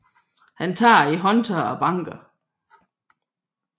Han tager i håndtaget og banker